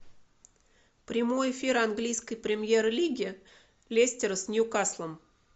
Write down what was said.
прямой эфир английской премьер лиги лестер с ньюкаслом